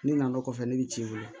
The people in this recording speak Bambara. Ne nan'o kɔfɛ ne bɛ ciw wele